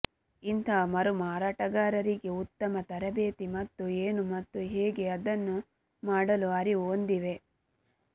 ಇಂತಹ ಮರುಮಾರಾಟಗಾರರಿಗೆ ಉತ್ತಮ ತರಬೇತಿ ಮತ್ತು ಏನು ಮತ್ತು ಹೇಗೆ ಅದನ್ನು ಮಾಡಲು ಅರಿವು ಹೊಂದಿವೆ